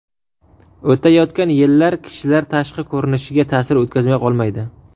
O‘tayotgan yillar kishilar tashqi ko‘rinishiga ta’sir o‘tkazmay qolmaydi.